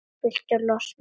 Viltu losna við hana?